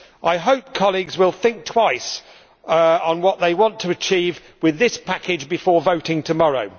I hope colleagues will think twice on what they want to achieve with this package before voting tomorrow.